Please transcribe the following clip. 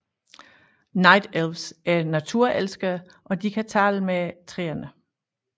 Night Elfs er naturelskere og de kan tale med træerne